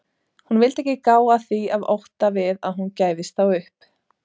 Hún vildi ekki gá að því af ótta við að hún gæfist þá upp.